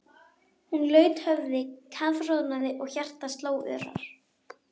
Hún laut höfði, kafroðnaði og hjartað sló örar.